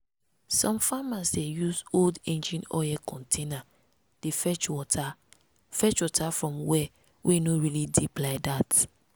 some farmers dey use old engine oil container dey fetch water fetch water from well wey no really deep like that.